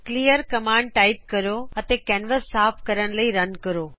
clear command type ਕਰੋ ਅਤੇ canvas ਸਾਫ ਕਰਨ ਲਈ ਰਨ ਕਰੋ